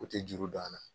O tɛ juru don a la